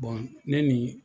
ne ni